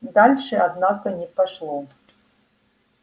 дальше однако не пошло